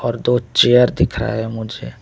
और दो चेयर दिख रहा है मुझे।